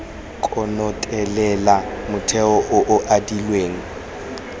konotelela motheo o o adilweng